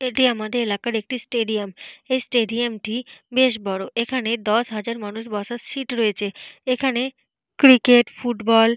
এটি আমাদের এলাকার একটি স্টেডিয়াম । এই স্টেডিয়াম টি বেশ বড়। এখানে দশ হাজার মানুষ বসাস সিট রয়েছে। এখানে ক্রিকেট ফুটবল --